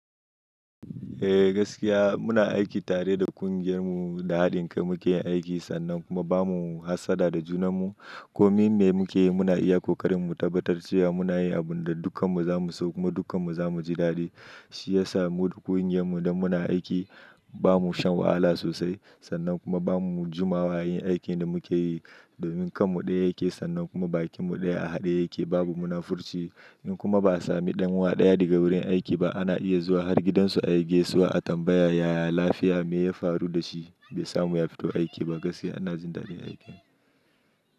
Eh gaskiya muna aiki tare da ƙungiyar mu da haɗin kai muke yin aiki sannan kuma bamu hassada da juna mu. Komai ne muka yi muna iya kokarin mu tabbatar cewa muna yin abin da dukkan mu za mu so kuma dukkan mu za mu ji daɗi. Shi ya sa mu da ƙungiyar mu da muna aiki ba mu shan wahala sosai sannan kuma ba mu jumawa yin aikin da muke yi. Domin kanmu ɗaya yake sannan kuma bakinmu ɗaya a haɗe yake babu munafurci. In kuma ba a sami ɗan wa ɗaya daga wurin aiki ba ana iya zuwa har gidansu a yi gaisuwa a tambaya yaya lafiya me ya faru da shi? Be sa mu ya fito aiki ba? Gaskiya ana jin daɗin aikin.